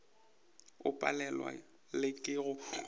o palelwa le ke go